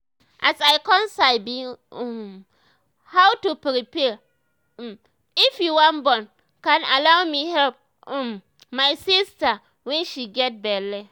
as i con sabi um how to prepare um if you wan born con allow me help um my sister wen she get belle